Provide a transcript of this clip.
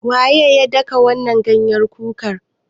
Waye ya daka wannan ganyen kukar?